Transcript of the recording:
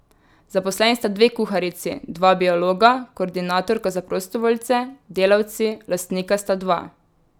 Zaposleni sta dve kuharici, dva biologa, koordinatorka za prostovoljce, delavci, lastnika sta dva.